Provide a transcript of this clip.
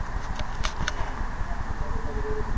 ના ના બરોબર બરોબર.